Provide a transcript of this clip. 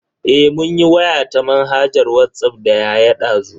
Eh mun yi waya ta manhajar Whatsapp da yaya dazu.